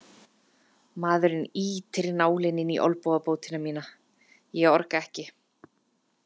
Maðurinn ýtir nálinni inn í olnbogabótina mína, ég orga ekki.